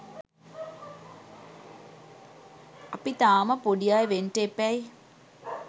අපි තාම පොඩි අය වෙන්ට එපැයි